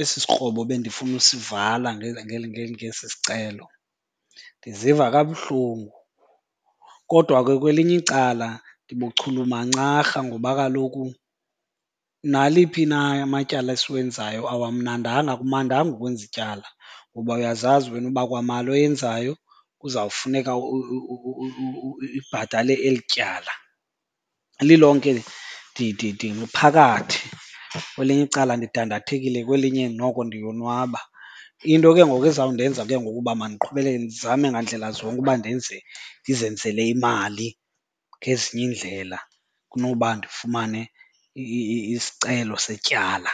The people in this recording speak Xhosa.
esi sikrobo bendifuna usivala ngesi sicelo. Ndiziva kabuhlungu. Kodwa ke kwelinye icala nibuchulumancarha ngoba kaloku naliphi na amatyala esiwenzayo awamnandanga, akumandanga ukwenza ityala ngoba uyazazi wena uba kwamali oyenzayo kuzawufuneka ibhatale eli tyala. Lilonke ndiphakathi, kwelinye icala ndidandathekile kwelinye noko ndiyonwaba. Into ke ngoku ezawundenza ke ngoku uba mandiqhubekeke ndizame ngandlela zonke uba ndenze, ndizenzele imali ngezinye iindlela kunoba ndifumane isicelo setyala.